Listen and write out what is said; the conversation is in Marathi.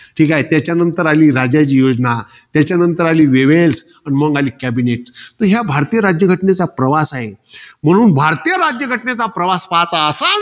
ठीके. त्याच्यानंतर आली राजाजी योजना. त्याच्यानंतर आली वेवेल्स त्यानंतर आली cabinet. हा भारतीय राज्यघटनेचा प्रवास आहे. म्हणून भारतीय राज्यघटनेचा प्रवास पाहता असाल